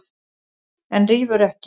En rífur ekki.